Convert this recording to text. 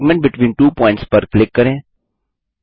segment between two points पर click करें